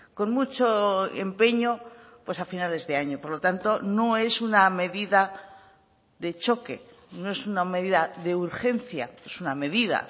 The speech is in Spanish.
con mucho empeño pues a finales de año por lo tanto no es una medida de choque no es una medida de urgencia es una medida